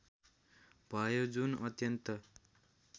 भयो जुन अत्यन्त